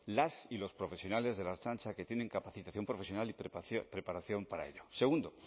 las y los profesionales de la ertzaintza que tienen capacitación profesional y preparación para ello segundo